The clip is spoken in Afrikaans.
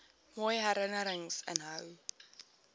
mooi herinnerings inhou